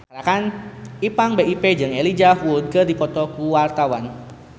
Ipank BIP jeung Elijah Wood keur dipoto ku wartawan